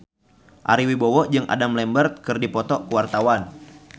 Ari Wibowo jeung Adam Lambert keur dipoto ku wartawan